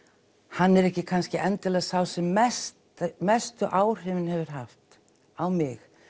hann er ekki endilega sá sem mestu mestu áhrifin hefur haft á mig